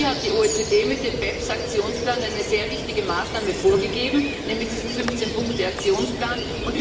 Hier hat die OECD mit dem BEPS Aktionsplan eine sehr wichtige Maßnahme vorgegeben, nämlich diesen 15 Punkte Aktionsplan.